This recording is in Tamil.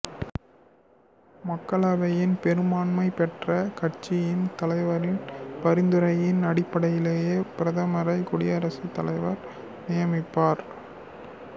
மக்களவையின் பெரும்பான்மை பெற்ற கட்சியின் தலைவரின் பரிந்துரையின் அடிப்படையிலேயே பிரதமரை குடியரசுத்தலைவர் நியமிப்பார்